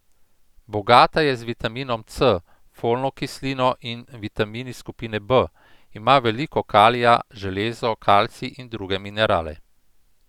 Bogata je z vitaminom C, folno kislino in vitamini skupine B, ima veliko kalija, železo, kalcij in druge minerale.